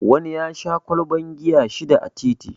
Wani ya sha ƙwalban giya shida a titi